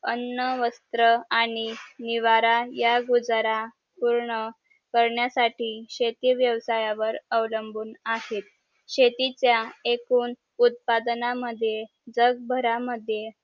अन्न वस्त्र आणि निवारा या गुजारा पूर्ण करण्यासाठी शेती व्यवसायावर अवलंबून आहे शेतीचा एकूण उत्पादना मद्ये जगभरा मद्ये